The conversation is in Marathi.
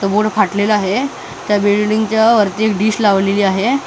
तो बोर्ड फाटलेला आहे त्या बिल्डिंगच्या वरती एक डिश लावलेली आहे.